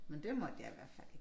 Men det måtte jeg i hvert fald ikke